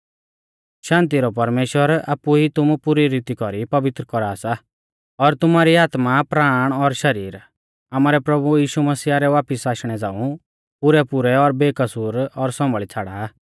शान्ति रौ परमेश्‍वर आपु ई तुमु पुरी रीती कौरी पवित्र कौरा सा और तुमारी आत्मा प्राण और शरीर आमारै प्रभु यीशु मसीहा रै वापिस आशणै झ़ांऊ पुरैपुरै और बेकसूर और सौंभाल़ी छ़ाड़ा